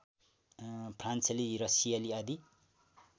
फ्रान्सेली रसियाली आदि